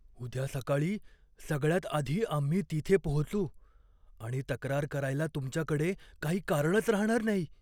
उद्या सकाळी सगळ्यात आधी आम्ही तिथे पोहोचू आणि तक्रार करायला तुमच्याकडे काही कारणच राहणार नाही.